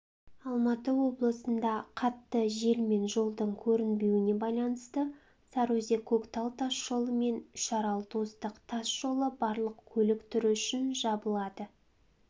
алматы облысында қатты жел мен жолдың көрінбеуіне байланысты сарыөзек көктал тасжолы мен үшарал достық тас жолы барлық көлік түрі үшін жабылды